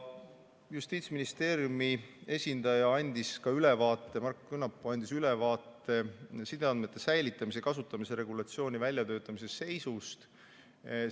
Justiitsministeeriumi esindaja Markko Künnapu andis ülevaate sideandmete säilitamise ja kasutamise regulatsiooni väljatöötamise seisust.